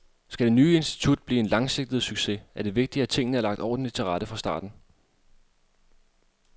Skal det nye institut blive en langsigtet succes, er det vigtigt, at tingene er lagt ordentligt til rette fra starten.